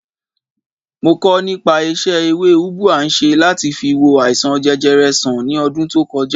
Mo kọ nípa isẹ ewé ubwa ń ṣe láti fi wo àìsàn jẹjẹrẹ sàn ní ọdún tó koja